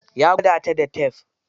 Ya gwada ta da tef.